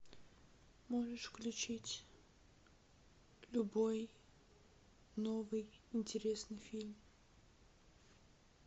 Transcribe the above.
можешь включить любой новый интересный фильм